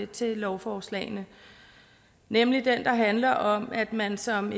til lovforslagene nemlig den der handler om at man som